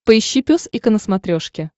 поищи пес и ко на смотрешке